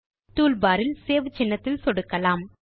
toolbar இல் save சின்னத்தில் சொடுக்கலாம்